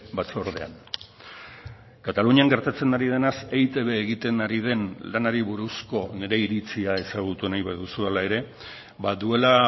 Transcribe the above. batzordean katalunian gertatzen ari denaz eitb egiten ari den lanari buruzko nire iritzia ezagutu nahi baduzu hala ere ba duela